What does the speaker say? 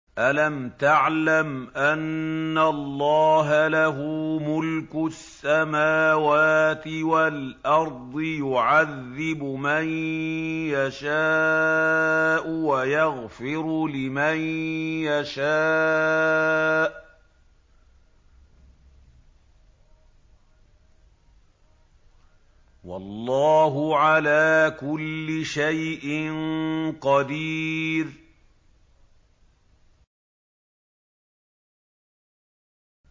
أَلَمْ تَعْلَمْ أَنَّ اللَّهَ لَهُ مُلْكُ السَّمَاوَاتِ وَالْأَرْضِ يُعَذِّبُ مَن يَشَاءُ وَيَغْفِرُ لِمَن يَشَاءُ ۗ وَاللَّهُ عَلَىٰ كُلِّ شَيْءٍ قَدِيرٌ